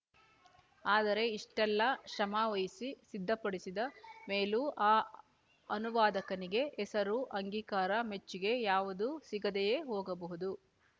ಆದರೆ ಇಷ್ಟೆಲ್ಲಾ ಶ್ರಮವಹಿಸಿ ಸಿದ್ಧ ಪಡಿಸಿದ ಮೇಲೂ ಆ ಅನುವಾದಕನಿಗೆ ಹೆಸರು ಅಂಗೀಕಾರ ಮೆಚ್ಚುಗೆ ಯಾವುದೂ ಸಿಗದೆಯೂ ಹೋಗಬಹುದು